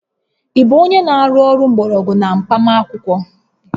Ị bụ onye na-arụ ọrụ mgbọrọgwụ na mkpaakwụkwọ?